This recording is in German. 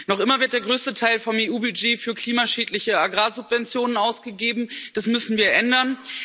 Noch immer wird der größte Teil vom EU Budget für klimaschädliche Agrarsubventionen ausgegeben das müssen wir ändern!